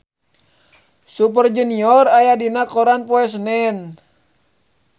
Super Junior aya dina koran poe Senen